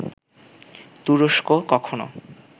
তুরস্ক কখনো